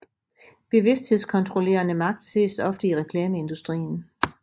Bevidsthedskontrollerende magt ses ofte i reklameindustrien